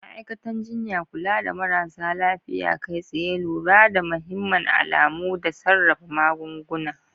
Ma'aikatan jinya: Kula da marasa lafiya kai tsaye, lura da mahimman alamu, da sarrafa magunguna.